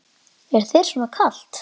Er þér svona kalt?